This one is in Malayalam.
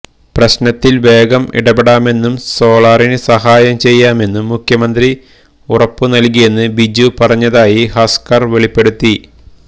പ്രശ്നത്തില് വേഗം ഇടപെടാമെന്നും സോളാറിന് സഹായം ചെയ്യാമെന്നും മുഖ്യമന്ത്രി ഉറപ്പുനല്കിയെന്ന് ബിജു പറഞ്ഞതായി ഹസ്ക്കര് വെളിപ്പെടുത്തി